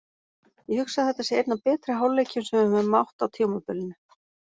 Ég hugsa að þetta sé einn af betri hálfleikjum sem við höfum átt á tímabilinu.